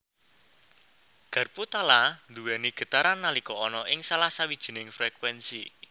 Garpu tala nduwéni getaran nalika ana ing salah sawijining frekuénsi